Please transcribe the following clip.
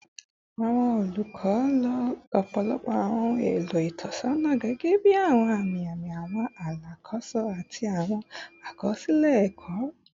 Awọn olukọ lo ọpọlọpọ awọn ohun elo itọnisọna gẹgẹbi awọn ami-ami, awọn alakoso, ati awọn akọsilẹ ẹkọ